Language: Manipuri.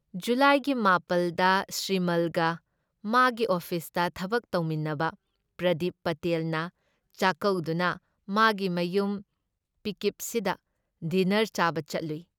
ꯖꯨꯂꯥꯏꯒꯤ ꯃꯥꯄꯜꯗ ꯁꯤꯔꯃꯜꯒ ꯃꯥꯒꯤ ꯑꯣꯐꯤꯁꯇ ꯊꯕꯛ ꯇꯧꯃꯤꯟꯅꯕ ꯄ꯭ꯔꯗꯤꯞ ꯄꯇꯦꯜꯅ ꯆꯥꯛꯀꯧꯗꯨꯅ ꯃꯥꯒꯤ ꯃꯌꯨꯝ ꯄꯤꯀꯤꯞꯁꯤꯗ ꯗꯤꯟꯅꯔ ꯆꯥꯕ ꯆꯠꯂꯨꯏ ꯫